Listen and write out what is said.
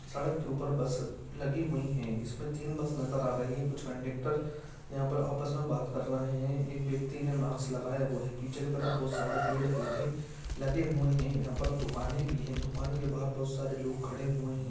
सड़क के ऊपर बस लगी हुई हैं इसमें तीन बस नजर आ रही है कुछ कंडक्टर यहां पर आपस में बात कर रहे हैं एक व्यक्ति ने माक्स लगाया हुआ है पीछे की तरफ बहुत सारे पेड़ पौधे लगे हुए हैं यहां पर दुकाने भी हैं दुकान के बाहर बहुत सारे लोग खड़े हुए हैं।